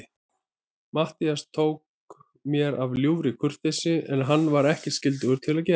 Matthías tók mér af ljúfri kurteisi, sem hann var ekkert skyldugur að gera.